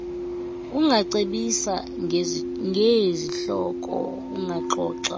ungacebisa ngeezihloko ungaxoxa